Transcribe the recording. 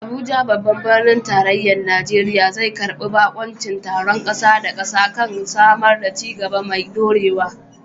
Abuja, babban birnin tarayyar Najeriya, zai karbi bakuncin taron kasa da kasa kan samar da ci gaba mai dorewa.